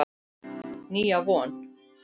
Nýja von.